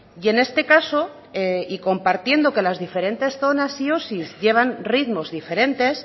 y en este caso y compartiendo que las diferentes zonas y osi llevan ritmos diferentes